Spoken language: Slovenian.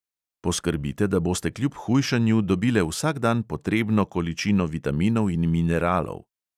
Poskrbite, da boste kljub hujšanju dobile vsak dan potrebno količino vitaminov in mineralov.